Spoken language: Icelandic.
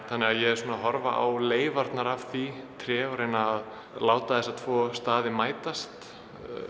þannig að ég er svona að horfa á leifarnar af því tré og láta þessa staði mætast